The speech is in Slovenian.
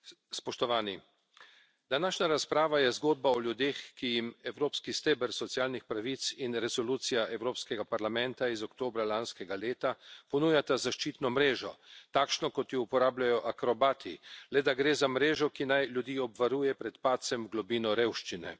Spoštovani, današnja razprava je zgodba o ljudeh, ki jim evropski steber socialnih pravic in resolucija Evropskega parlamenta iz oktobra lanskega leta ponujata zaščitno mrežo, takšno kot jo uporabljajo akrobati, le da gre za mrežo, ki naj ljudi obvaruje pred padcem v globino revščine.